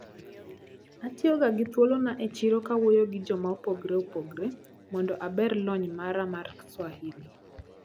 Atiyoga gi thuolona e chiro kawuoyo gi jokmaopogre opogre mondo aber lony mara mar swahili.